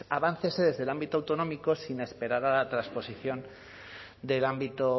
aváncese desde el ámbito autonómico sin esperar a la transposición del ámbito